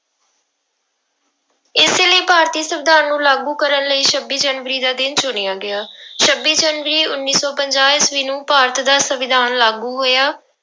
ਇਸੇ ਲਈ ਭਾਰਤੀ ਸੰਵਿਧਾਨ ਨੂੰ ਲਾਗੂ ਕਰਨ ਲਈ ਛੱਬੀ ਜਨਵਰੀ ਦਾ ਦਿਨ ਚੁਣਿਆ ਗਿਆ ਛੱਬੀ ਜਨਵਰੀ ਉੱਨੀ ਸੌ ਪੰਜਾਹ ਈਸਵੀ ਨੂੰ ਭਾਰਤ ਦਾ ਸੰਵਿਧਾਨ ਲਾਗੂ ਹੋਇਆ।